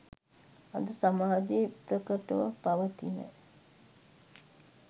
අද සමාජයේ ප්‍රකටව පවතින